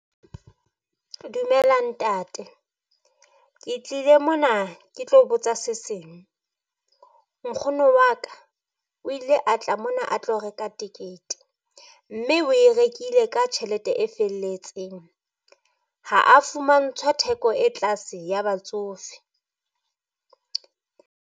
Dumela ntate, Ke tlile mona ke tlo botsa seseng. Nkgono wa ka o ile a tla mona a tlo reka tikete, mme oe rekile ka tjhelete e felletseng. Ha a fumantshwa theko e tlase ya batsofe.